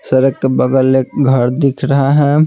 सड़क के बगल एक घर दिख रहा है।